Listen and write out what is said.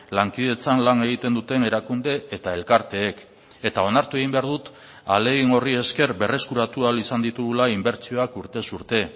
lankidetzan lan egiten duten erakunde eta elkarteek eta onartu egin behar dut ahalegin horri esker berreskuratu ahal izan ditugula inbertsioak urtez urte